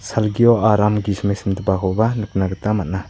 salgio aram gisime simdipakoba nikna gita man·a.